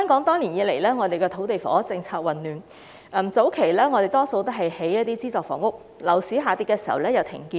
多年來，香港的土地房屋政策混亂，早期較多興建資助房屋，在樓市下跌時又停建。